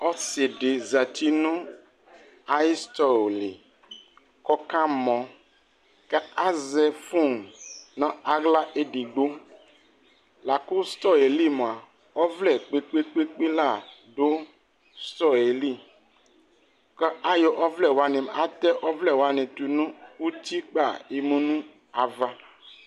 Ɔsi dι zati nʋ ayʋ sitɔ lι kʋ ɔkamɔ kʋ azɛ fon nʋ aɣla edigbo La kʋ sitɔ yɛ lι mua, ɔvlɛ kpekpekpe la dʋ sitɔ yɛ lι kʋ ayɔ ɔvlɛ wani atɛ ɔvlɛ wani tu nʋ uti kpa yemu nʋ ava